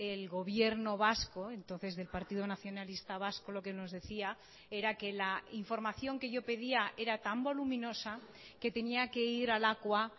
el gobierno vasco entonces del partido nacionalista vasco lo que nos decía era que la información que yo pedía era tan voluminosa que tenía que ir a lakua